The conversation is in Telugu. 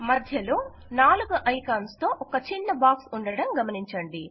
మధ్యలో 4 ఐకాన్స్ తో ఒక చిన్న బాక్స్ ఉండడం గమనించండి